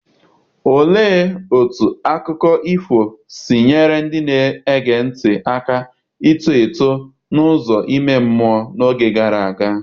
Olee otú akụkọ ifo si nyere ndị na-ege ntị aka ito eto n’ụzọ ime mmụọ n’oge gara aga?